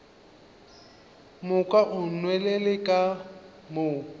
moka o nwelele ka mo